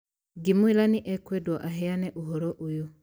Ngĩmwĩra nĩ ekwendwo aheane ũhoro ũyũ